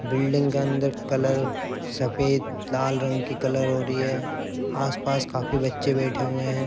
Building के अंदर colour सफेद लाल रंग की कलर हो रही है। आस-पास काफी बच्चे बैठे हुए हैं।